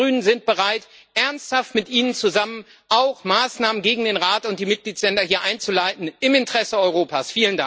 Wir Grünen sind bereit, ernsthaft mit Ihnen zusammen auch Maßnahmen gegen den Rat und die Mitgliedstaaten hier einzuleiten im Interesse Europas.